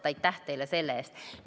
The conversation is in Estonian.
Aitäh teile selle eest!